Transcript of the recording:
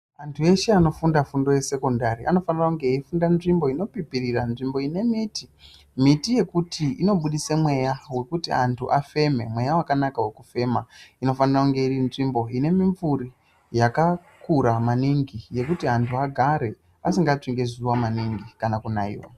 Vantu veshe vanofunda fundo yesekondari, anofanira kunge eyifundira nzvimbo inopipirira, nzvimbo ine miti. Miti yekuti inobudise mweya wekuti antu afeme, mweya wakanaka wekufema. Inofanira kunge iri nzvimbo ine mimvuri, yakakura maningi yekuti antu agare, asingatsvi ngezuwa maningi kana kunaiwa.